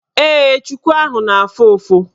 Ee, chuku ahụ na-afụ ụfụ.